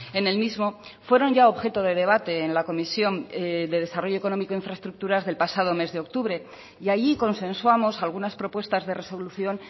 en el mismo fueron ya objeto de debate en la comisión de desarrollo económico e infraestructuras del pasado mes de octubre y allí consensuamos algunas propuestas de resolución